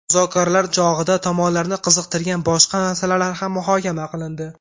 Muzokaralar chog‘ida tomonlarni qiziqtirgan boshqa masalalar ham muhokama qilindi.